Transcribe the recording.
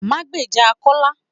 Má gbejà Kọ́lá